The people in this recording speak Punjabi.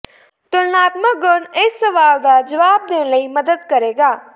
ਤੁਲਨਾਤਮਕ ਗੁਣ ਇਸ ਸਵਾਲ ਦਾ ਜਵਾਬ ਦੇਣ ਲਈ ਮਦਦ ਕਰੇਗਾ